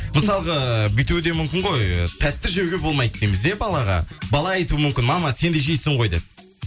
мысалға бүйтуде мүмкін ғой ы тәтті жеуге болмайды дейміз иә балаға бала айтуы мүмкін мама сен де жейсің ғой деп